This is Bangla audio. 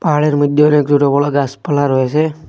পাহাড়ের মইধ্যে অনেক সোট বড় গাসপালা রয়েসে।